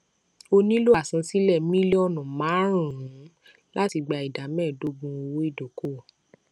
ó nílò àsansílẹ mílíọnù márùnún láti gba ìdá méẹdógún owó ìdókòòwò